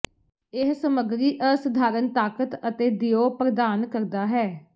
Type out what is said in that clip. ਇਹ ਸਮੱਗਰੀ ਅਸਧਾਰਨ ਤਾਕਤ ਅਤੇ ਦਿਓ ਪ੍ਰਦਾਨ ਕਰਦਾ ਹੈ